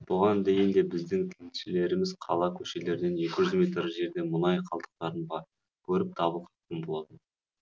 бұған дейін де біздің тілшілеріміз қала көшелерінен екі эжүз метр жерде мұнай қалдықтарын барып көріп дабыл қаққан болатын